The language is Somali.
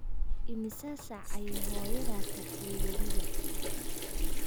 Immisa saac ayay hooyadaa tagtay webiga?